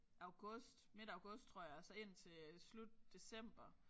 August midt august tror jeg og så indtil øh slut december